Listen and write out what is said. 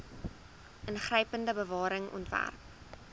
ingrypende bewaring ontwerp